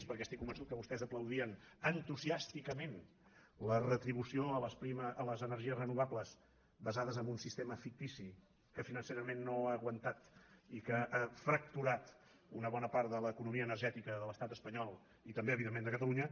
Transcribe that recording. perquè estic convençut que vostès aplaudien entusiàsticament la retribució a les energies renovables basades en un sistema fictici que financerament no ha aguantat i que ha fracturat una bona part de l’economia energètica de l’estat espanyol i també evidentment de catalunya